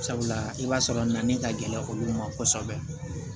Sabula i b'a sɔrɔ na ni ka gɛlɛn olu ma kosɛbɛ